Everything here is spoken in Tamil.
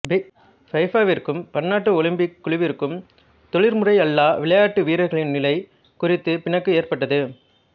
ஃபிஃபாவிற்கும் பன்னாட்டு ஒலிம்பிக் குழுவிற்கும் தொழில்முறையல்லா விளையாட்டு வீரர்களின் நிலை குறித்து பிணக்கு ஏற்பட்டது